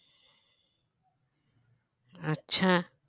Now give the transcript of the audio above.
আচ্ছা